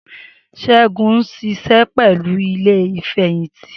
Segun ń ṣiṣẹ́ pẹ̀lú ilé Ìfẹ̀yìntì